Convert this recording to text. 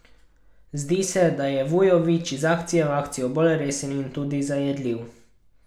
Zdi se, da je Vujović iz akcije v akcijo bolj resen in tudi zajedljiv.